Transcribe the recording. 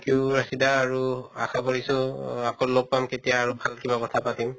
you Rashida আৰু আশা কৰিছো আকৌ লগ পাম কেতিয়া আৰু কিবা কথা পাতিম